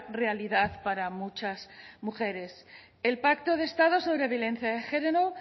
realidad para muchas mujeres el pacto de estado sobre violencia de género